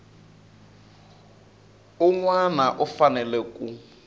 un wana u fanele ku